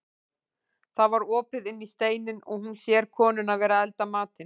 Það var opið inn í steininn og hún sér konuna vera að elda matinn.